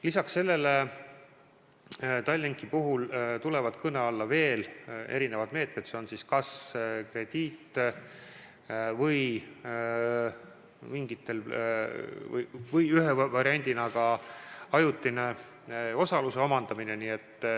Lisaks sellele Tallinki puhul tulevad kõne alla veel erinevad meetmed, kas krediit või ühe variandina ka ajutine osaluse omandamine.